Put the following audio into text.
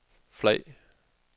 flag